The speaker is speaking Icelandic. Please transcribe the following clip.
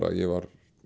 að ég var